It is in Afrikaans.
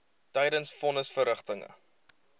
tydens von nisverrigtinge